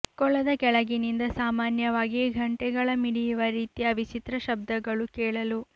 ಕೊಳದ ಕೆಳಗಿನಿಂದ ಸಾಮಾನ್ಯವಾಗಿ ಘಂಟೆಗಳ ಮಿಡಿಯುವ ರೀತಿಯ ವಿಚಿತ್ರ ಶಬ್ದಗಳು ಕೇಳಲು